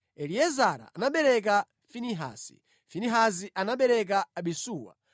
Eliezara anabereka Finehasi, Finehasi anabereka Abisuwa,